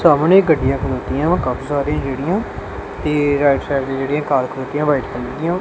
ਸਾਹਮਣੇ ਗੱਡੀਆਂ ਖਲੋਤੀਆਂ ਕਾਫੀ ਸਾਰੀ ਰਿਹੜੀਆਂ ਤੇ ਰਾਈਟ ਸਾਈਡ ਤੇ ਜਿਹੜੀਆਂ ਕਾਰ ਖੜੋਤੀਆਂ ਵਾਈਟ ਕਲਰ ਦੀਆਂ।